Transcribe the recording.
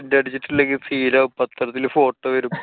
tent അടിച്ചില്ലെങ്കി scene ആവും. പത്രത്തിലൊക്കെ photo വരും.